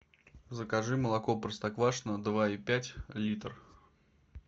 закажи молоко простоквашино два и пять литр